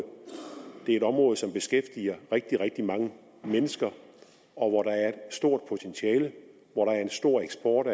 det er et område som beskæftiger rigtig rigtig mange mennesker og hvor der er et stort potentiale og hvor der er en stor eksport